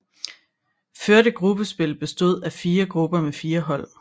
Førte gruppespil bestod af fire grupper med fire hold